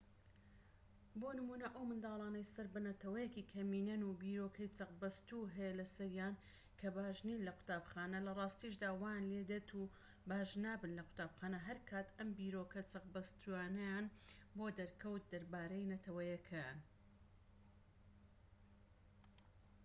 بۆ نمونە ئەو منداڵانەی سەر بە نەتەوەیەکی کەمینەن و بیرۆکەی چەقبەستوو هەیە لەسەریان کە باش نین لە قوتابخانە لە ڕاستیشدا وایان لێدێت و باش نابن لە قوتابخانە هەرکات ئەم بیرۆکە چەقبەستوویانەیان بۆ دەرکەوت دەربارەی نەتەوەیەکەیان